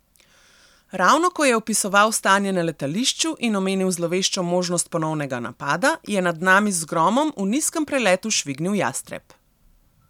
Ravno ko je opisoval stanje na letališču in omenil zloveščo možnost ponovnega napada, je nad nami z gromom v nizkem preletu švignil jastreb.